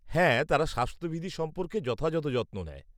হ্যাঁ, তারা স্বাস্থ্যবিধি সম্পর্কে যথাযথ যত্ন নেয়।